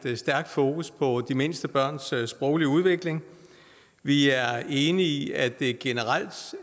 er et stærkt fokus på de mindste børns sproglige udvikling vi er enige i at det generelt